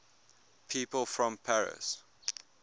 people from paris